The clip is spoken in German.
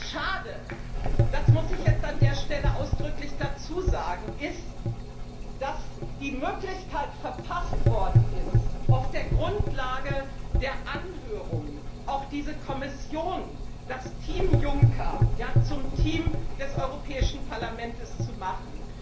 Schade das muss ich jetzt an der Stelle ausdrücklich dazu sagen ist, dass die Möglichkeit verpasst worden ist, auf der Grundlage der Anhörungen diese Kommission, das Team Juncker, auch zum Team des Europäischen Parlaments zu machen.